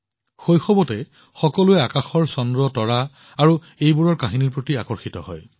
শৈশৱত সকলোৱে আকাশৰ জোনতৰাৰ দ্বাৰা ইয়াৰ কাহিনীৰ প্ৰতি আকৰ্ষিত হয়